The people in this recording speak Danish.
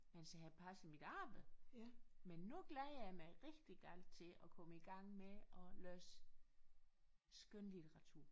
Mens jeg har passet mit arbejde men nu glæder jeg mig rigtig galt til at komme i gang med at læse skønlitteratur